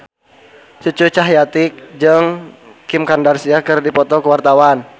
Cucu Cahyati jeung Kim Kardashian keur dipoto ku wartawan